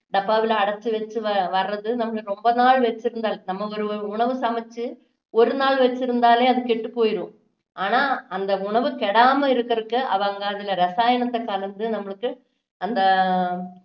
டப்பாவுல அடைச்சு வச்சு வ~ வர்றது நம்மளுக்கு ரொம்ப நாள் வச்சுருந்து நம்ம ஒரு ஒரு உணவு சமைச்சு ஒரு நாள் வச்சு இருந்தாலே அது கெட்டு போய்ரும் ஆனா அந்த உணவு கெடாம இருக்குறதுக்கு அவங்க அதுல இரசாயனத்தை கலந்து நம்மளுக்கு அந்த